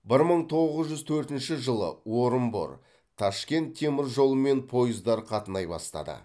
бір мың тоғыз жүз төртінші жылы орынбор ташкент теміржолымен пойыздар қатынай бастады